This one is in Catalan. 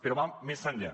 però va més enllà